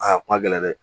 Aa kun ma gɛlɛn dɛ